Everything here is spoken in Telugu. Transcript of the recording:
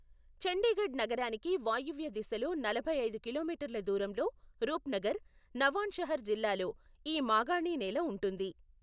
చండీగఢ్ నగరానికి వాయువ్య దిశలో నలభై ఐదు కిలోమీటర్ల దూరంలో రూప్నగర్, నవాన్షహర్ జిల్లాల్లో ఈ మాగాణినేల ఉంటుంది.